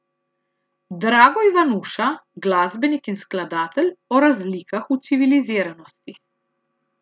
Drago Ivanuša, glasbenik in skladatelj, o razlikah v civiliziranosti.